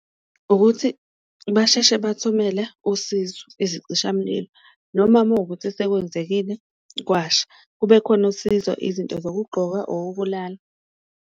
Ukuthi basheshe bathumele usizo ezicishamlilo noma mawukuthi sekwenzekile kwasha, kube khona usizo, izinto zokugqoka, okokulala.